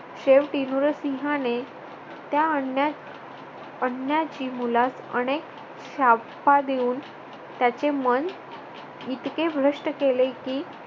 शेवटी नुरसिंहाने त्या अन्य अन्याची मुलास अनेक शापा देऊन त्याचे मन इतके भ्रष्ट केले की